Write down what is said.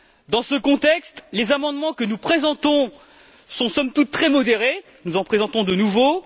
Dans ce contexte, les amendements que nous présentons sont somme toute très modérés nous en présentons de nouveaux.